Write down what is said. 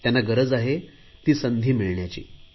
त्यांना गरज आहे ती संधी मिळण्याची